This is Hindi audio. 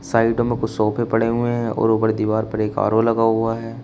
साइड में कुछ सोफे पड़े हुए हैं और ऊपर दीवार पर एक आर_ओ लगा हुआ है।